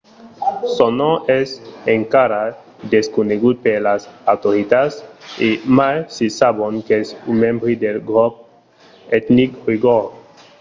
son nom es encara desconegut per las autoritats e mai se sabon qu'es un membre del grop etnic oigor